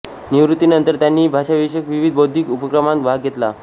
निवृत्तीनंतर त्यांनी भाषाविषयक विविध बौद्धिक उपक्रमांत भाग घेतला